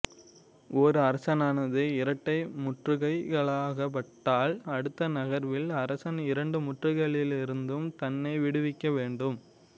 ஓர் அரசனானது இரட்டை முற்றுகைக்காளாக்கப்பட்டால் அடுத்த நகர்வில் அரசன் இரண்டு முற்றுகைகளிலிருந்தும் தன்னை விடுவிக்க வேண்டும்